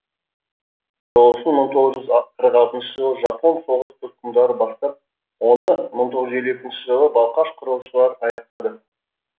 құрылысын мың тоғыз қырық алтыншы жылы жапон соғыс тұтқындары бастап оны мың тоғыз жүз елу екінші жылы балқаш құрылысшылар аяқтады